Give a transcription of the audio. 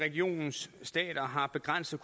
juel jensen